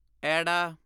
ਐੜਾ